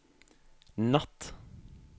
natt